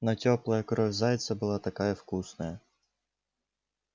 но тёплая кровь зайца была такая вкусная